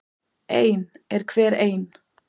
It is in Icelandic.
Ein er hver ein.